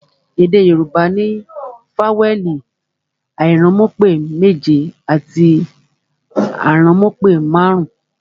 Èdè Yorùbá ní fawẹẹli airanmupe méje àti aranmupe marun-un